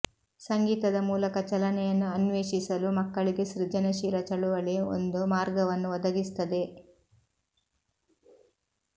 ಸಂಗೀತದ ಮೂಲಕ ಚಲನೆಯನ್ನು ಅನ್ವೇಷಿಸಲು ಮಕ್ಕಳಿಗೆ ಸೃಜನಶೀಲ ಚಳುವಳಿ ಒಂದು ಮಾರ್ಗವನ್ನು ಒದಗಿಸುತ್ತದೆ